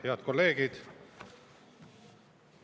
Head kolleegid!